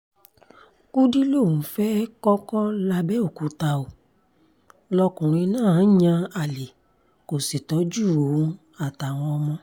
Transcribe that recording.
kùdì lòun fẹ́ẹ́ kọ́kọ́ làbẹ̀òkúta ó lọkùnrin náà ń yan àlè kó sì tọ́jú òun àtàwọn ọmọ